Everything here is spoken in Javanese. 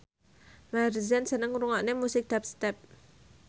Maher Zein seneng ngrungokne musik dubstep